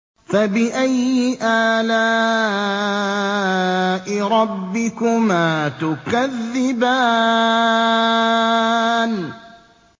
فَبِأَيِّ آلَاءِ رَبِّكُمَا تُكَذِّبَانِ